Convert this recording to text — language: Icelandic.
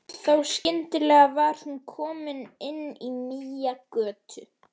Þá skyndilega var hún komin inn í nýja götu.